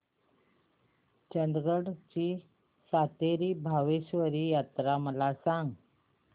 चंदगड ची सातेरी भावेश्वरी यात्रा मला सांग